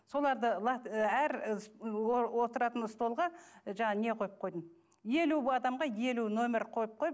соларды әр отыратын столға жаңағы не қойып қойдым елу адамға елу номер қойып қойып